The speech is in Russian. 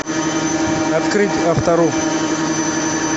открыть авто ру